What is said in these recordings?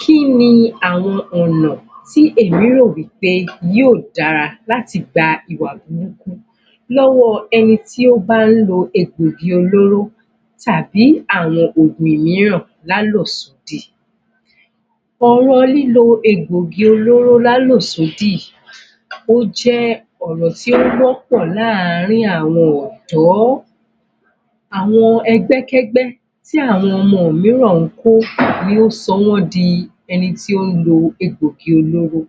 Kí ni àwọn ọ̀nà tí èmi rò wí pé yóò dára láti gba ìwà burúkú lọ́wọ́ ẹni tí ó bá ń lo egbògi olóró tàbí àwọn ògùn mìíràn lálòsódì ọ̀rọ̀ lílo egbògi olóró lálòsódì ó jẹ́ ọ̀rọ̀ tí ó wọ́ pọ̀ láàrin àwọn ọ̀dọ́ àwọn ẹgbẹ́kẹ́gbẹ́ tí àwọn ọmọ yìí náà ń kó ló sọ wọ́n di ẹni tí ó ń lo egbògi olóró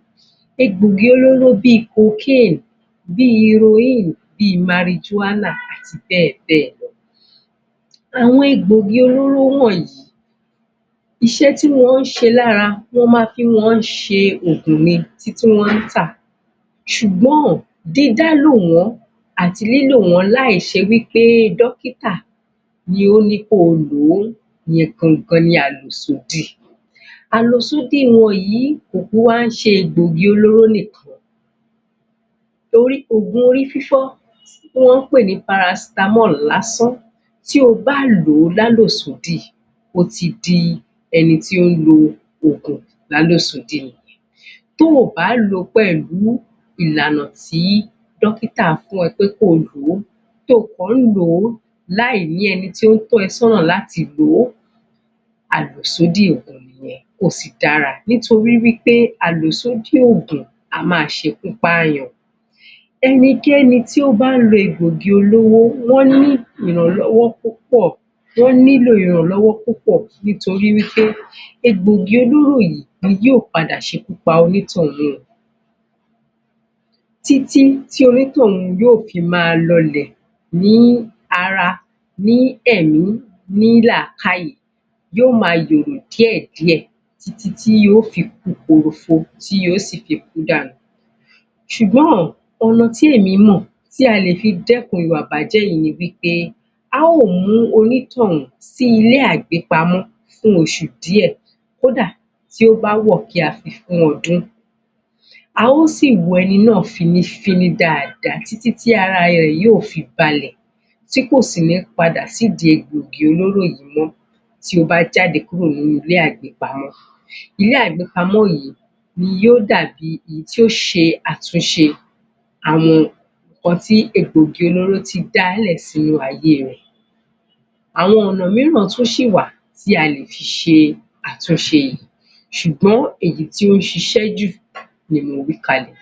egbògi olóró bíi cocaine bí heroine, bí marijuana àti bẹ́ẹ bẹ́ẹ̀ lọ àwọn egbògi olóró wọ̀nyí iṣẹ́ tí wọ́n ń ṣe lára, wọ́n má fi ń ṣe ògùn ni tí wọ́n ń tà ṣùgbọ́n, dídá lò wọn àti lílò wọn láì ṣe wí pé dọ́kítà ni ó ní kí o lò ó ìyẹn gangan ni àlòsódì àlòsódì wọn yìí kì í wá ṣe egbògi olóró nìkan torí òògùn orí fífọ́ tí wọ́n ń pè ní paracetamol lásán tí o bá lò ó lálòsódì o ti di ẹni tó ń lo oògùn lálòsódì Tí o bá lò pẹ̀lú ìlànà tí dọ́kítà fún ẹ pé kó o lòó tí o kàn ń lò láì ní ẹni tí ó tọ́ ẹ sọ́nà láti lò ó àlòsódì nìyẹn kò sì dára nítorí wí pé àlòsódì ògùn á máa ṣe ikú pààyàn ẹnikẹ́ni tí ó bá ń lo egbògi olóró wọ́n nílò ìrànlọ́wọ́ tó pọ̀ yó nílò ìrànlọ́wọ́ tó pọ̀ nítorí wí pé egbògi olóró yìí ni yó padà ṣe ikú pa onítọ̀hún o títí tí onítọ̀hún yóò fi máa lọ lẹ̀ ní ara, ní ẹ̀mí, ní làákàyè yó máa yòrò díẹ̀díẹ̀ títí yó fi ku kòròfo tí yó fi kú dànù ṣùgbọ́n, oun tí èmi mọ̀ tí a lè fi dẹ́kun ìwà ìbàjẹ́ yìí ni wí pé, a ó mú onítọ̀hún sí ilé àgbépamọ́ fún oṣù díẹ̀ kó dà, tí ó bá wọ̀ kí a fi fún ọdún a ó sì wo ẹni náà fínnífíní dáadáa títí tí ara rẹ̀ yóò fi balẹ̀ tí kò sì ní padà sí egbògi olóró yìí mọ́ tí ó bá jáde kúró ní inú ilé àgbépamọ́ ilé àgbépamọ́ yìí ni yóò dàbí èyí tí yó ṣe àtúnṣe àwọn ohun tí egbògi olóró ti dá lẹ̀ sínú ayé rẹ̀ Àwọn ọ̀nà mìíràn tún ṣì wà tí a lè fi ṣe àtúnṣe ṣùgbọ́n èyí tó ń ṣiṣẹ́ jù ni mo wí kalẹ̀